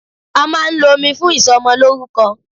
A máà ń lo omi fún ìsọmọlórúkọ.